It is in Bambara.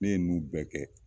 Ne ye ninnu bɛɛ kɛ.